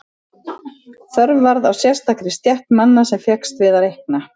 Þörf varð á sérstakri stétt manna sem fékkst við að reikna.